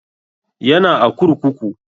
Yana a kurkuku